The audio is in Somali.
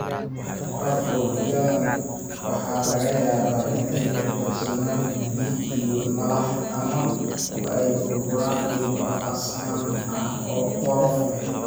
Papules-yadaan waxaa laga yaabaa inay ka buuxsamaan dhiig iyo malax ama ay u burburaan dhibco casaan ah oo qolof leh.